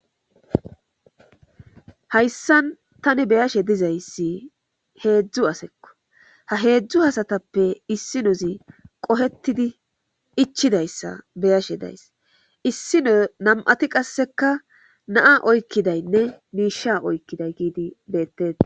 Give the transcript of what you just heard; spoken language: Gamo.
hayssan tani beyashe dizayssi heedzdzu asekko ha heedzdzu hasatappe issinozi qohetidi ichidayssa beyashe days issino nam7ati qasseka naa oykkidaynne miisha oykkiday giidi beettea